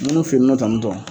nunnu fe nɔ tan tɔn